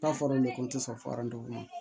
N'a fɔra de ko n tɛ sɔn